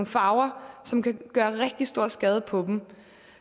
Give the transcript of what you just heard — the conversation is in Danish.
farver som kan gøre rigtig stor skade på dem